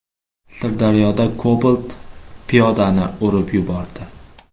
Sirdaryoda Cobalt piyodani urib yubordi.